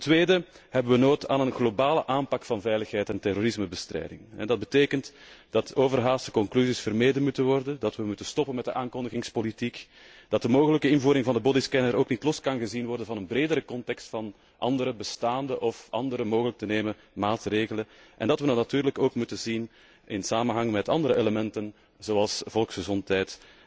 Ten tweede hebben wij nood aan een globale aanpak van veiligheid en terrorismebestrijding en dat betekent dat overhaaste conclusies vermeden moeten worden, dat wij moeten stoppen met de aankondigingspolitiek, dat de mogelijke invoering van de bodyscanner ook niet los gezien kan worden van een bredere context van andere bestaande of andere mogelijk te nemen maatregelen en dat wij dat natuurlijk ook moeten zien in samenhang met andere elementen, zoals volksgezondheid